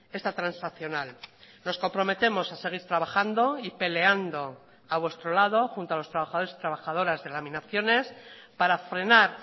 esta transaccional nos comprometemos a seguir trabajando y peleando a vuestro lado junto a los trabajadores y trabajadoras de laminaciones para frenar